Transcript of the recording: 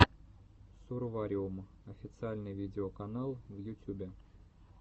сурвариум официальный видеоканал в ютюбе